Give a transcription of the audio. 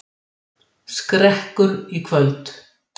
Skrekkur í kvöld